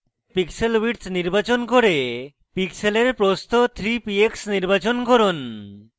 pixel width নির্বাচন করে pixel প্রস্থ 3 px নির্বাচন করুন